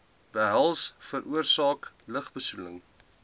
behels veroorsaak lugbesoedelende